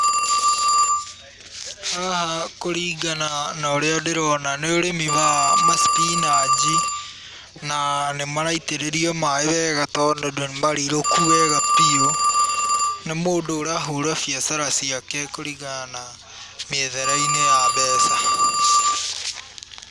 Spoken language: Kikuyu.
Haha kũringana norĩa ndĩrona nĩ ũrĩmi wa ma spinanch, na nĩ maraitĩrĩrio maĩ wega, tondũ nĩmarirũkũ wega biũ, nĩ mũndũ ũrahũũra biacara ciake kũringana na mĩethere-inĩ ya mbeca.